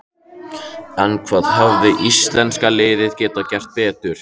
En hvað hefði íslenska liðið geta gert betur?